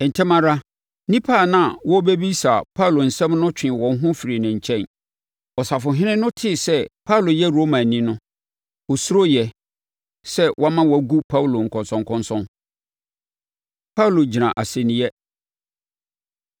Ntɛm ara, nnipa a na wɔrebɛbisa Paulo nsɛm no twee wɔn ho firii ne nkyɛn. Ɔsafohene no tee sɛ Paulo yɛ Romani no, ɔsuroeɛ sɛ wama wɔagu Paulo nkɔnsɔnkɔnsɔn. Paulo Gyina Asɛnniiɛ